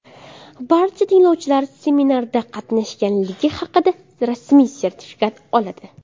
Barcha tinglovchilar seminarda qatnashganligi haqida rasmiy sertifikat oladi.